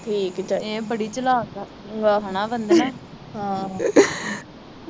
ਠੀਕ ਈ ਚਾਹੀਦਾ ਇਹ ਬੜੀ ਚਲਾਕ ਆ ਹੇਨਾ ਵੰਧਨਾ